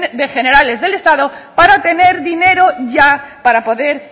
generales del estado para poder tener dinero ya para poder